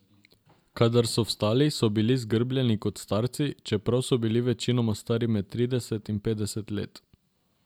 Kadar so vstali, so bili zgrbljeni kot starci, čeprav so bili večinoma stari med trideset in petdeset let.